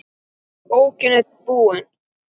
Bókin er búin.